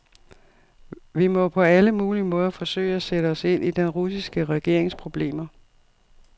Vi må på alle mulige måder forsøge at sætte os ind i den russiske regerings problemer.